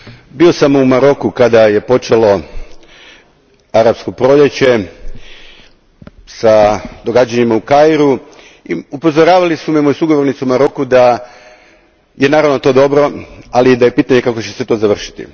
Gospodine predsjedniče, bio sam u Maroku kada je počelo Arapsko proljeće sa događanjima u Kairu i upozoravali su me moji sugovornici u Maroku da je naravno to dobro, ali da je pitanje kako će se to završiti.